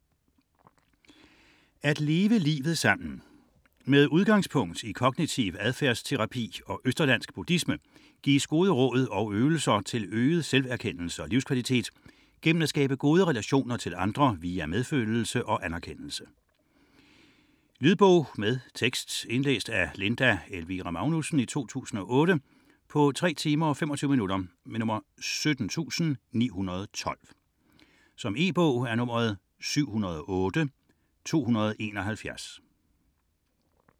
15.2 At leve livet sammen Med udgangspunkt i kognitiv adfærdsterapi og østerlandsk buddhisme gives gode råd og øvelser til øget selverkendelse og livskvalitet gennem at skabe gode relationer til andre via medfølelse og anerkendelse. Lydbog med tekst 17912 Indlæst af Linda Elvira Magnussen, 2008. Spilletid: 3 timer, 25 minutter. E-bog 708271 2008.